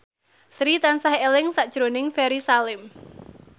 Sri tansah eling sakjroning Ferry Salim